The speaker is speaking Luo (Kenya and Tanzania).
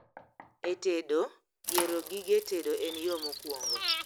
E tedo, yiero gige tedo en yoo mokwongo